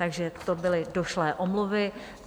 Takže to byly došlé omluvy.